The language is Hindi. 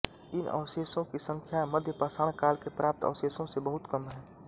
इन अवशेषो की संख्या मध्यपाषाण काल के प्राप्त अवशेषो से बहुत कम है